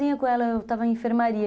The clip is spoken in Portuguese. sozinha com Eu estava em enfermaria.